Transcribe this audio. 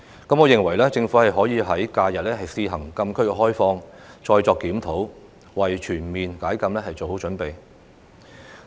我認為，政府可以在假日試行禁區開放，然後再作檢討，為全面解禁做好準備。